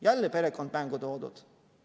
Jälle perekond mängu toodud.